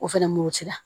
O fɛnɛ murutira